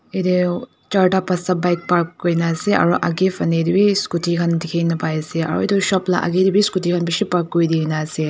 eyatae charta pasta bike park kurina dikhiase ase aro edu lakae tae bi scooty khan toh bishi park kurina ase.